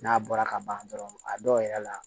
N'a bɔra ka ban dɔrɔn a dɔw yɛrɛ la